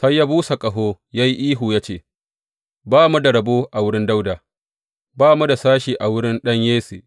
Sai ya busa ƙaho, ya yi ihu ya ce, Ba mu da rabo a wurin Dawuda, ba mu da sashe a wurin ɗan Yesse!